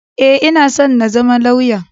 E, ina so na zama lauya.